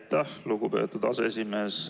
Aitäh, lugupeetud aseesimees!